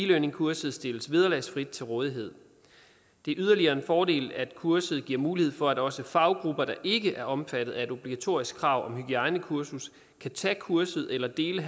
learningkurset stilles vederlagsfrit til rådighed det er yderligere en fordel at kurset giver mulighed for at også faggrupper der ikke er omfattet af et obligatorisk krav om hygiejnekursus kan tage kurset eller dele